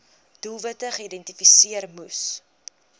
doelwitte geïdentifiseer moes